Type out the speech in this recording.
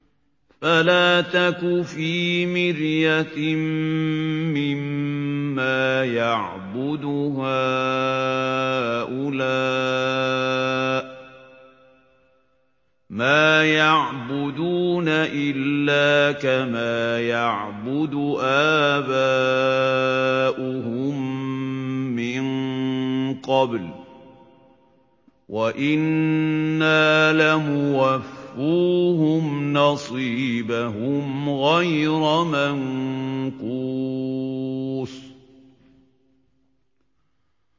فَلَا تَكُ فِي مِرْيَةٍ مِّمَّا يَعْبُدُ هَٰؤُلَاءِ ۚ مَا يَعْبُدُونَ إِلَّا كَمَا يَعْبُدُ آبَاؤُهُم مِّن قَبْلُ ۚ وَإِنَّا لَمُوَفُّوهُمْ نَصِيبَهُمْ غَيْرَ مَنقُوصٍ